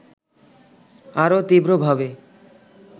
আরও তীব্র ভাবে